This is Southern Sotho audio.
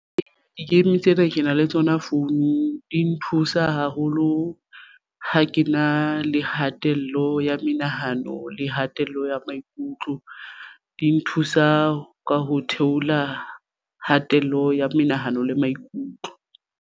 Di-game tsena ke na le tsona founung di nthusa haholo ha ke na le hatello ya menahano le hatella ya maikutlo di nthusa ka ho theola kgatello ya menahano le maikutlo.